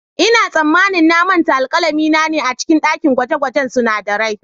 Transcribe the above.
Ina tsammanin na manta alkalami na a cikin dakin gwaje-gwajen sunadarai.